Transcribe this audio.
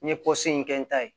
N ye in kɛ n ta ye